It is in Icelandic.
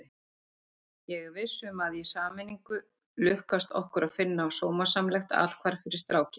Ég er viss um að í sameiningu lukkast okkur að finna sómasamlegt athvarf fyrir strákinn.